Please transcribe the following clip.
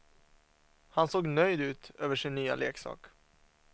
Han såg nöjd ut över sin nya leksak.